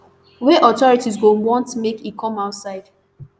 wey authorities go want make e come outside